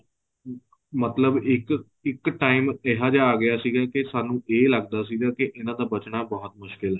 ਮਤਲਬ ਇੱਕ ਇੱਕ time ਇਹਾ ਜਾ ਆ ਗਿਆ ਸੀ ਕੀ ਸਾਨੂੰ ਇਹ ਲੱਗਦਾ ਸੀ ਕਿਉਂਕਿ ਇਹਨਾ ਦਾ ਬਚਣਾ ਬਹੁਤ ਮੁਸ਼ਕਿਲ ਹੈ